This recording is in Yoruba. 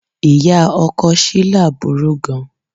Ìyá ọkọ Shila burú gan-an.